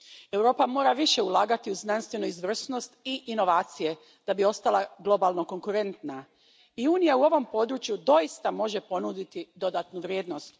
Europa mora više ulagati u znanstvenu izvrsnost i inovacije da bi ostala globalno konkurentna i Unija u ovom području doista može ponuditi dodatnu vrijednost.